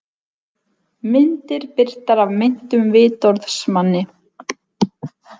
Myndir birtar af meintum vitorðsmanni